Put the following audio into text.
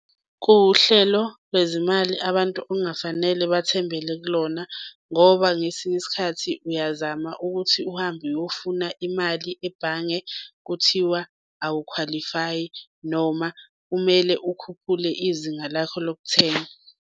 Kuwuhlelo lwezimali abantu ongafanele bathembele kulona ngoba ngesinye isikhathi uyazama ukuthi uhambe uyofuna imali ebhange kuthiwa awukhwalifayi, noma kumele ukhuphule izinga lakho lokuthenga.